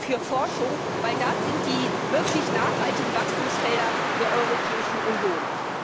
für Forschung, denn das sind die wirklich nachhaltigen Wachstumsfelder der Europäischen Union.